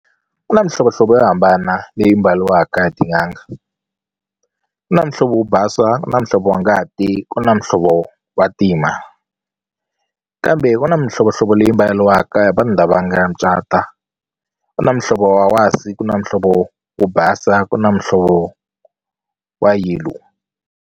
Ku na mihlovohlovo yo hambana leyi mbariwaka hi tin'anga ku na muhlovo wo basa na muhlovo wa ngati ku na muhlovo wa ntima kambe ku na mihlovohlovo leyi mbariwaka hi vanhu lava nga cata ku na muhlovo wa wasi, ku na muhlovo wo basa ku na muhlovo wa yellow.